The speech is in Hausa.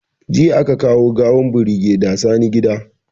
Jiya aka kawo gawan birigeda Sani gida